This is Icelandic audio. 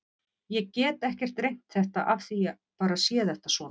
Ég get ekkert rengt þetta af því ég bara sé þetta svona.